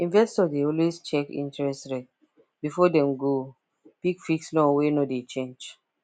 investor dey always check interest rate before dem go pick fixed loan wey no dey change